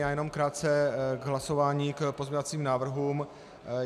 Já jenom krátce k hlasování k pozměňovacím návrhům.